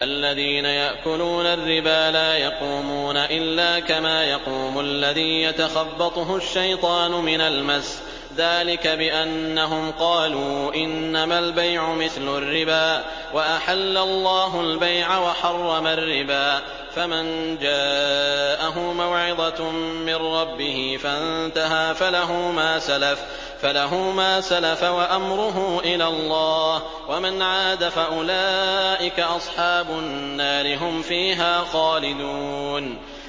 الَّذِينَ يَأْكُلُونَ الرِّبَا لَا يَقُومُونَ إِلَّا كَمَا يَقُومُ الَّذِي يَتَخَبَّطُهُ الشَّيْطَانُ مِنَ الْمَسِّ ۚ ذَٰلِكَ بِأَنَّهُمْ قَالُوا إِنَّمَا الْبَيْعُ مِثْلُ الرِّبَا ۗ وَأَحَلَّ اللَّهُ الْبَيْعَ وَحَرَّمَ الرِّبَا ۚ فَمَن جَاءَهُ مَوْعِظَةٌ مِّن رَّبِّهِ فَانتَهَىٰ فَلَهُ مَا سَلَفَ وَأَمْرُهُ إِلَى اللَّهِ ۖ وَمَنْ عَادَ فَأُولَٰئِكَ أَصْحَابُ النَّارِ ۖ هُمْ فِيهَا خَالِدُونَ